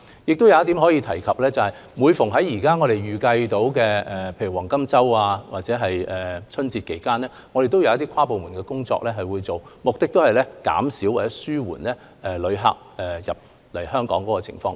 我亦想在此提述另一點，當我們預計在黃金周或春節期間會有大量旅客訪港時，我們會進行跨部門工作，目的是減少或紓緩旅客來港的情況。